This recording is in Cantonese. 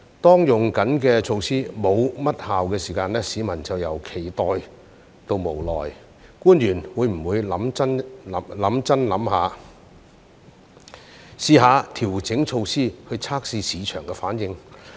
當正在採用的措施沒甚麼效用時，市民便由期待到無奈，官員會否認真思考，嘗試調整措施以測試市場反應呢？